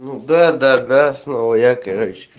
ну да-да-да снова я короче